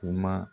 Kuma